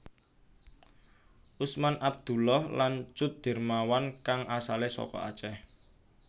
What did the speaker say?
Usman Abdullah lan Cut Dermawan kang asalé saka Acéh